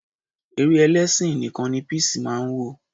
Eré ẹlẹ́sìn nìkan ni Peace máa ń wò.